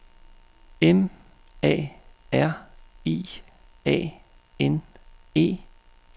M A R I A N E